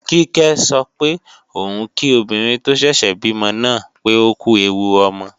Kíkẹ́ sọ pé òun kí obìnrin tó ṣẹ̀ṣẹ̀ bímọ náà pé ókú ẹwu ọmọ